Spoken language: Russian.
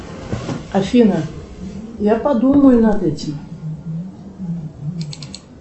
афина я подумаю над этим